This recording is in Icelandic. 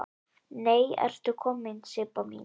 Nei ertu komin Sibba mín!